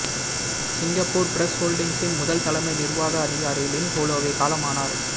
Singapore press ஹோல்டிங்ஸின் முதல் தலைமை நிர்வாக அதிகாரி லின் ஹோலோவே காலமானார்